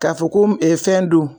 K'a fɔ ko fɛn don